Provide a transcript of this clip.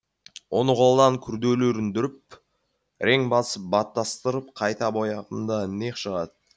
оны қолдан күрделеріндіріп рең басын баттастырып қайта бояғанда не шығады